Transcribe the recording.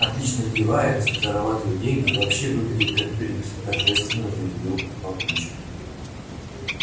отлично одевается зарабатывает деньги и вообще выглядит как принц торжественно заявил папульчик